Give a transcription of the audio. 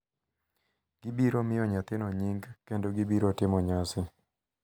Gibiro miyo nyathino nying kendo gibiro timo nyasi